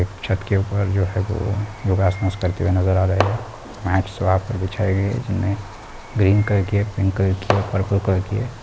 एक छत के ऊपर जो है वो लोग योगासन करते हुए नजर आ रहे है बिछाई गई है जिनमे ग्रीन कलर की है पिंक कलर की है पर्पल कलर की है।